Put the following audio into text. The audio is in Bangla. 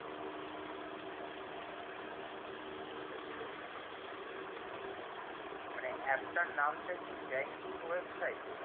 মানে app টার নাম কি banking website